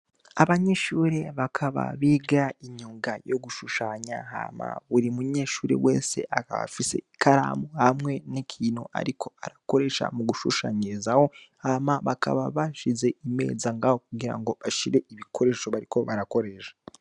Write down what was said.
Abanyeshure bakaba biga imyuga yo gushushanya, Hama buri munyeshure wese akaba afise ikaramu n'ikintu ariko arakoresha mu gushushanyirizaho. Hama bakaba bashize imeza ngaho kugira ngo bashireho ibikoresho bariko barakoresha.